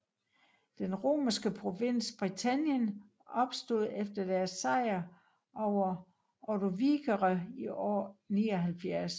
Den romerske provins Britannien opstod efter deres sejr over ordovikere i år 79